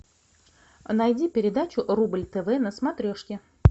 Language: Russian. найди передачу рубль тв на смотрешке